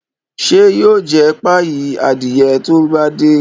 Isa yóò jé páyi Adiye to bá dé.